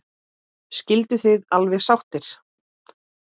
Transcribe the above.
Skilduð þið alveg sáttir?